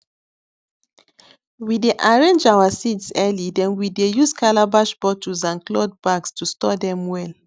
we dey arrange our seeds early then we dey use calabash bottles and cloth bags to store dem well